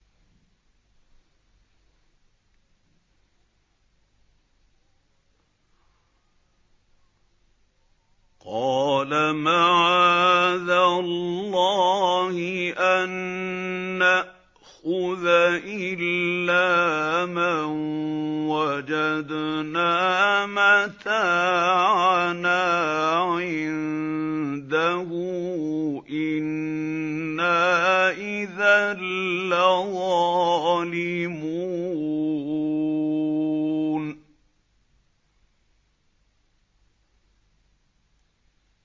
قَالَ مَعَاذَ اللَّهِ أَن نَّأْخُذَ إِلَّا مَن وَجَدْنَا مَتَاعَنَا عِندَهُ إِنَّا إِذًا لَّظَالِمُونَ